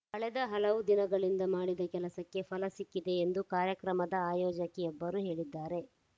ಕಳೆದ ಹಲವು ದಿನಗಳಿಂದ ಮಾಡಿದ ಕೆಲಸಕ್ಕೆ ಫಲ ಸಿಕ್ಕಿದೆ ಎಂದು ಕಾರ್ಯಕ್ರಮದ ಆಯೋಜಕಿಯೊಬ್ಬರು ಹೇಳಿದ್ದಾರೆ